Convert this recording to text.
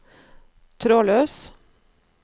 trådløs